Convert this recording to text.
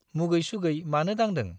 मुगै-सुगै मानो दांदों ?